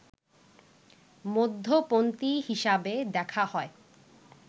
মধ্যপন্থী হিসাবে দেখা হয়